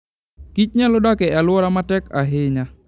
kich nyalo dak e alwora matek ahinya.